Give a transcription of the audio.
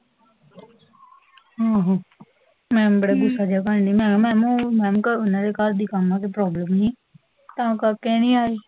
ਓਹੋ, ਮੈਮ ਬੜਾ ਗੁੱਸਾ ਜਾ ਕਰ ਰਹੀ, ਮੈਂ ਕਿਹਾ ਮੈਮ ਉਹ, ਮੈਮ ਓਹਨਾ ਦੇ ਘਰ ਕਾਮਾ ਦੀ ਪ੍ਰੋਬਲਮ ਸੀ, ਤਾਂ ਕਰਕੇ ਨੀ ਆਈ